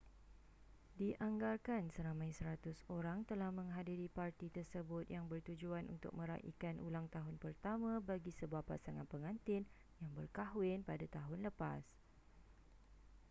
dianggarkan seramai 100 orang telah menghadiri parti tersebut yang bertujuan untuk meraikan ulang tahun pertama bagi sebuah pasangan pengantin yang berkahwin pada tahun lepas